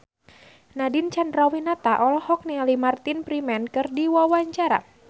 Nadine Chandrawinata olohok ningali Martin Freeman keur diwawancara